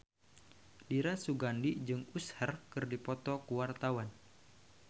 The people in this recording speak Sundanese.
Dira Sugandi jeung Usher keur dipoto ku wartawan